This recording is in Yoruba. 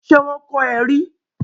Ṣe wọn kọ é rí?